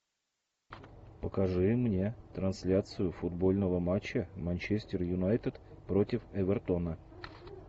покажи мне трансляцию футбольного матча манчестер юнайтед против эвертона